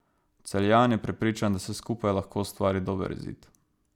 Celjan je prepričan, da se skupaj lahko ustvari dober izid.